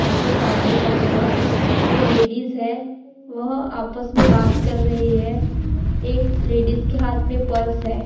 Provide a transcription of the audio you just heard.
Bank के सामने खड़े है दो लेडिज है वह आपस मे बात कर रही है एक लेडिज के हात मे पर्स है।